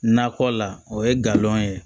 Nakɔ la o ye galon ye